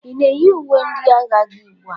Ị na-eyi uwe ndị agha gị ugbu a?